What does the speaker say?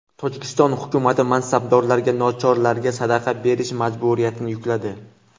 Tojikiston hukumati mansabdorlarga nochorlarga sadaqa berish majburiyatini yukladi.